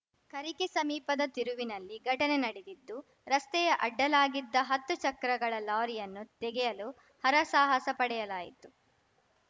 ಕರಿಕೆ ಸಮೀಪದ ತಿರುವಿನಲ್ಲಿ ಘಟನೆ ನಡೆದಿದ್ದು ರಸ್ತೆಯ ಅಡ್ಡಲಾಗಿದ್ದ ಹತ್ತು ಚಕ್ರಗಳ ಲಾರಿಯನ್ನು ತೆಗೆಯಲು ಹರಸಾಹಸಪಡೆಯಲಾಯಿತು